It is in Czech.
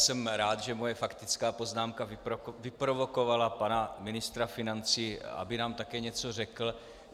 Jsem rád, že moje faktická poznámka vyprovokovala pana ministra financí, aby nám také něco řekl.